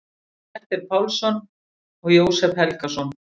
Grettir Pálsson og Jósep Helgason.